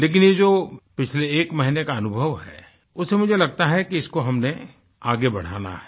लेकिन ये जो पिछले एक महीने का अनुभव है उससे मुझे लगता कि इसको हमने आगे बढ़ाना है